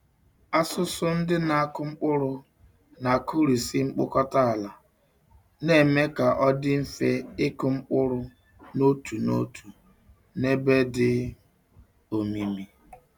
Asụsụ ndị na-akụ mkpụrụ na-akụrisị mkpọkọta ala, na-eme ka ọ dị mfe ịkụ mkpụrụ n'otu n'otu na n'ebe dị omimi.